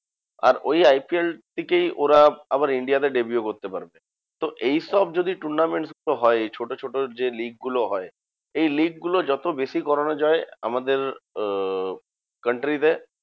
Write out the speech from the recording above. আর ওই IPL থেকেই ওরা আবার India তে deview করতে পারবে। তো এইসব যদি tournament হয় ছোট ছোট যে league গুলো হয়, এই league গুলো যত বেশি করানো যায় আমাদের আহ country তে